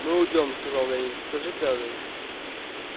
мы уйдём сказал лэннинг скажи кэлвин